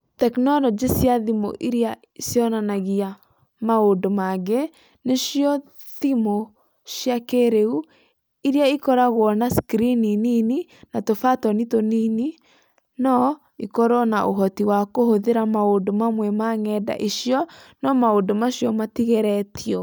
Tekinoronjĩ cia thimu iria cionanagia maũndũ mangĩ, nĩcio thimu cia kĩĩrĩu iria ikoragwo na skrini nini na tũbatũni tũnini, no ikorũo na ũhoti wa kũhũthĩra maũndũ mamwe ma ng’enda icio, no maũndũ macio matigeretio.